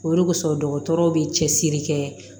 O de kosɔn dɔgɔtɔrɔw be cɛsiri kɛ